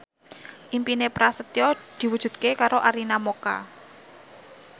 impine Prasetyo diwujudke karo Arina Mocca